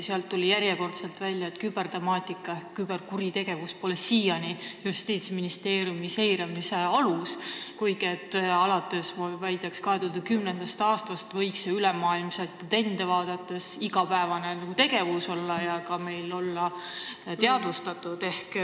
Sealt tuli järjekordselt välja, et kübertemaatika ehk küberkuritegevus pole siiani Justiitsministeeriumi seiramise alus, kuigi ma väidaks, et alates 2010. aastast võinuks see olla ülemaailmseid trende vaadates igapäevane tegevus ja ka meil teadvustatud.